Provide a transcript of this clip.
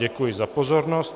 Děkuji za pozornost.